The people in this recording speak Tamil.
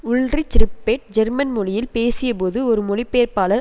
உல்றிச் றிப்பேட் ஜெர்மன் மொழியில் பேசியபோழுது ஒரு மொழிப்பெயர்ப்பாளர்